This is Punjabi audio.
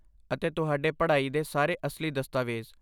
ਅਤੇ ਤੁਹਾਡੇ ਪੜ੍ਹਾਈ ਦੇ ਸਾਰੇ ਅਸਲੀ ਦਸਤਾਵੇਜ਼।